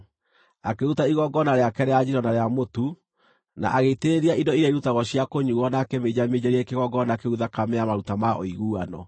Akĩruta igongona rĩake rĩa njino na rĩa mũtu, na agĩitĩrĩria indo iria irutagwo cia kũnyuuo na akĩminjaminjĩria kĩgongona kĩu thakame ya maruta ma ũiguano.